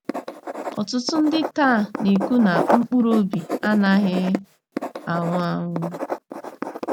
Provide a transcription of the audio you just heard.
Ọtụtụ ndị taa na - ekwu na mkpụrụ obi anaghị anwụ anwụ.